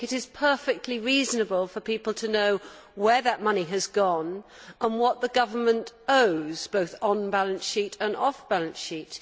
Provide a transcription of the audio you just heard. I think it is perfectly reasonable for people to know where that money has gone and what the government owes, both on balance sheet and off balance sheet.